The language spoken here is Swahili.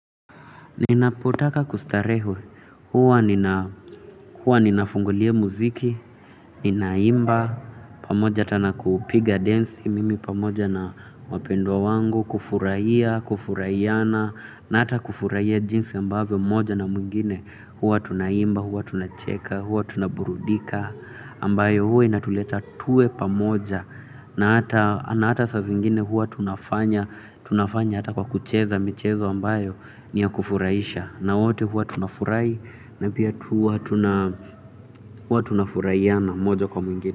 Ninapotaka kustarehe, huwa ninafungulia muziki, ninaimba, pamoja hata na kupiga densi, mimi pamoja na wapendwa wangu, kufurahia, kufurahiana, na hata kufurahia jinsi ambavyo moja na mwingine, huwa tunaimba, huwa tunacheka, huwa tunaburudika, ambayo huwa inatuleta tuwe pamoja, na hata saa zingine huwa tunafanya, tunafanya hata kwa kucheza michezo ambayo ni ya kufurahisha. Na wote huwa tunafurahi na pia huwa tuna huwa tunafurahiana moja kwa mwingine.